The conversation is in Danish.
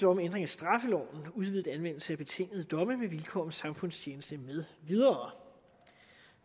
om ændring af straffeloven udvidet anvendelse af betingede domme med vilkår om samfundstjeneste med videre